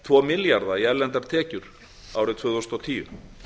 tvo milljarða í erlendra tekjur árið tvö þúsund og tíu